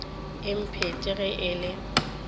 e phethe ge e le